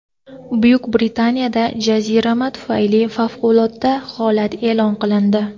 Buyuk Britaniyada jazirama tufayli favqulodda holat e’lon qilindi.